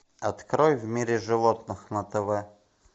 открой в мире животных на тв